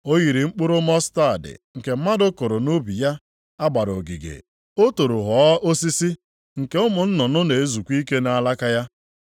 O yiri mkpụrụ mọstaadị nke mmadụ kụrụ nʼubi ya a gbara ogige. O toro ghọọ osisi, nke ụmụ nnụnụ na-ezukwa ike nʼalaka ya.”